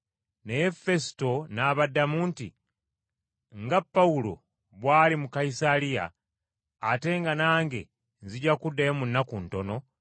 Naye Fesuto n’abaddamu nti, “Nga Pawulo bw’ali mu Kayisaliya, ate nga nange nzija kuddayo mu nnaku ntono,